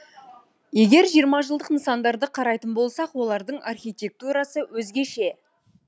егер жиырма жылдық нысандарды қарайтын болсақ олардың архитектурасы өзгеше